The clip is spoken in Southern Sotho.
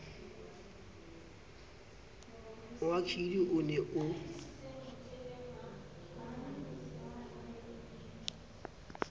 wa kelly o ne o